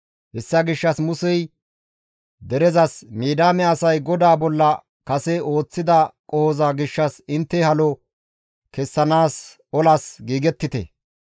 Hessa gishshas Musey derezas, «Midiyaame asay GODAA bolla kase ooththida qohoza gishshas intte halo kessanaas olas giigettite.